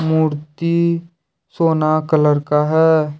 मूर्ती सोना कलर का है।